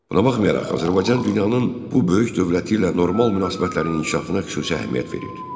Buna baxmayaraq, Azərbaycan dünyanın bu böyük dövləti ilə normal münasibətlərin inkişafına xüsusi əhəmiyyət verir.